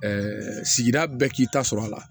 sigida bɛɛ k'i ta sɔrɔ a la